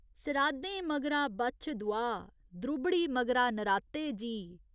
सराधें मगरा बच्छदुआह्, द्रुबड़ी मगरा नराते जी।